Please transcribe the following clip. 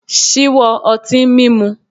Ṣíwọ́ ọtín mímu.